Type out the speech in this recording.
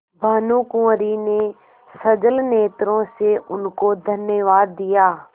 भानुकुँवरि ने सजल नेत्रों से उनको धन्यवाद दिया